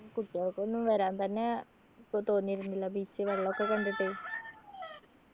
കുട്ടികൾക്കൊന്നും വരാൻ തന്നെ ക്ക് തോന്നിയിരുന്നില്ല beach വെള്ളൊക്കെ കണ്ടിട്ട്